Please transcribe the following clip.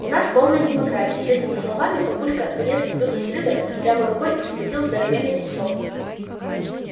у нас полная демократия с этими словами папулька залез в блюдо с рыбой прямо рукой и схватил здоровенный кусок